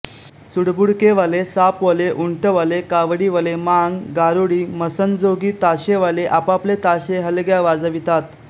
चुडबुडकेवाले सापवाले उंटवाले कावडीवाले मांग गारुडी मसणजोगी ताशेवाले आपापले ताशे हलग्या वाजवितात